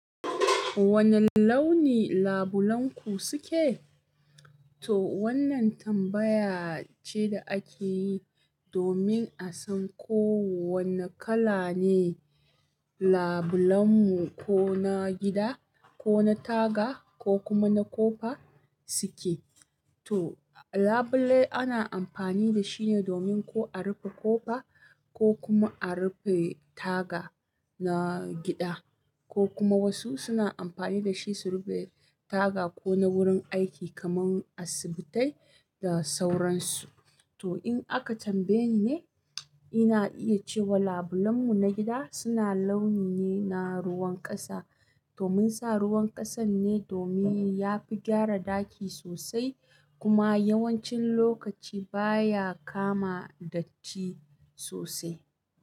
Wani launi labulenku suke? To wannan tambaya ce da ake yi domin a san ko wani kala ne labulenmu ko na gida, ko na taga ko kuma na kofa suke. To labulai ana amfani da shi ne domin ko a rufe kofa ko kuma a rufe taga na gida ko kuma wasu suna amfani da shi su rufe taga ko na wurin aiki kaman asibitai da sauransu. To in aka tambaye ni ne, ina iya cewa labulenmu na gida suna launi ne na ruwan ƙasa. To mun sa ruwan ƙasan ne domin ya fi gyara ɗaki sosai kuma yawancin lokaci baya kama datti sosai.